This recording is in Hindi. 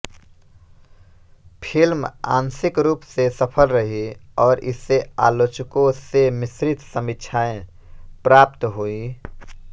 फिल्म आंशिक रूप से सफल रही और इसे आलोचकों से मिश्रित समीक्षाएं प्राप्त हुईं